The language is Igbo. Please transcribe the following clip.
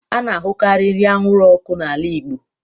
A na-ahụkarị nri anwụrụ ọkụ n'ala Igbo